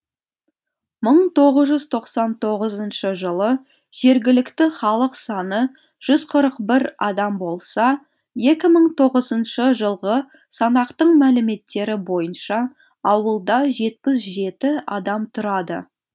мың тоғыз жүз тоқсан тоғызыншы жылы жергілікті халық саны жүз қырық бір адам болса екі мың тоғызыншы жылғы санақтың мәліметтері бойынша ауылда жетпіс жеті адам тұрады